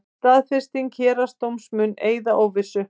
Staðfesting héraðsdóms mun eyða óvissu